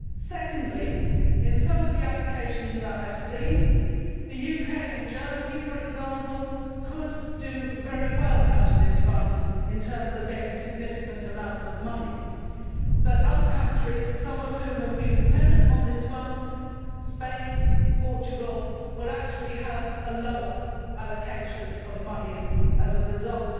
Secondly, in some accounts of the allocation that I have seen, the UK and Germany, for example, could do very well out of this Fund in terms of getting significant amounts of money and other countries, some of whom have been dependent on this Fund, such as Spain and Portugal, would actually have a lower allocation of monies as a result